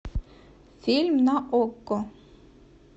фильм на окко